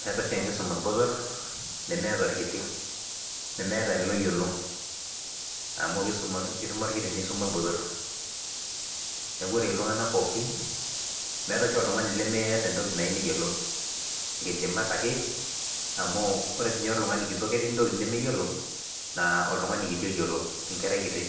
Meeta oshi enkisuma orbotorr nemeeta orkiti nemeeta ele oyiolo amu keisum kisuma orkiti nisuma orbotorr neku ore iltung'anak pooki meetae oshi oltung'ani lemeeta entoki nayieu neyiolou inkidimat ake amu ore sinye oltung'ani kitok ketii intokitin nemeyiolo naa oltung'ani kiti oyiolo enkerai kiti